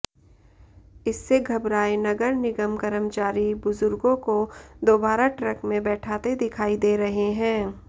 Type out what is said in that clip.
इससे घबराए नगर निगम कर्मचारी बुजुर्गों को दोबारा ट्रक में बैठाते दिखाई दे रहे हैं